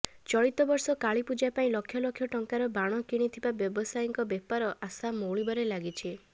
ଚଳିତ ବର୍ଷ କାଳୀପୂଜା ପାଇଁ ଲକ୍ଷ ଲକ୍ଷ ଟଙ୍କାର ବାଣ କିଣିଥିବା ବ୍ୟବସାୟୀଙ୍କ ବେପାର ଆଶା ମଉଳିବାରେ ଲାଗିଛି